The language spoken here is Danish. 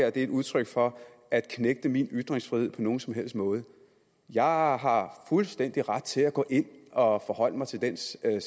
er et udtryk for at knægte min ytringsfrihed på nogen som helst måde jeg har har fuldstændig ret til at gå ind og forholde mig til den sag